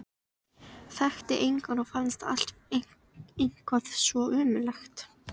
Þekkti engan og fannst allt eitthvað svo ömurlegt.